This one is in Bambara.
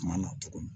Kuma na tuguni